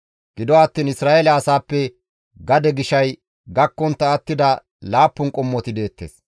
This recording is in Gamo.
Gido attiin Isra7eele asaappe gade gishay gakkontta attida laappun qommoti deettes.